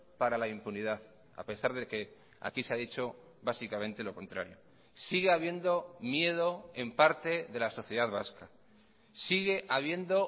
para la impunidad a pesar de que aquí se ha dicho básicamente lo contrario sigue habiendo miedo en parte de la sociedad vasca sigue habiendo